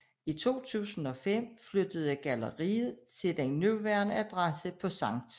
I 2005 flyttede galleriet til den nuværende adresse på Sct